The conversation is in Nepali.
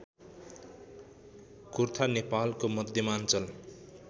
कुर्था नेपालको मध्यमाञ्चल